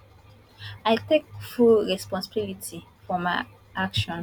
i take full responsibility for my action